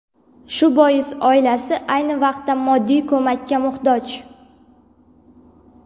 Shu bois oilasi ayni vaqtda moddiy ko‘makka muhtoj.